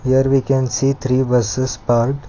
there we can see three buses parked.